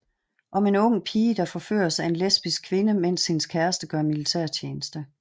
Om en ung pige der forføres af en lesbisk kvinde mens hendes kæreste gør militærtjeneste